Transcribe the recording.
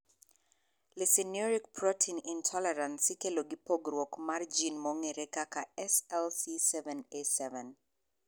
Lysinuric protein intolerance ikelo gi pogruok mar gin mong'ere kaka SLC7A7.